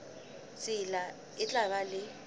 tsela e tla ba le